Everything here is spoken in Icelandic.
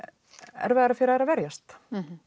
erfiðara fyrir að verjast